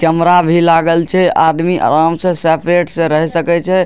Camera भी लागल छै आदमी आराम से सेपरेट से रह सकए छै।